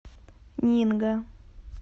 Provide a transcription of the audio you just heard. нинго